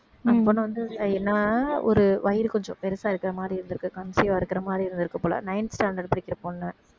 அந்த பொண்ணு வந்து ஒரு வயிறு கொஞ்சம் பெருசா இருக்கிற மாதிரி இருந்திருக்கு conceive ஆ இருக்கிற மாதிரி இருந்திருக்கு போல ninth standard படிக்கிற பொண்ணு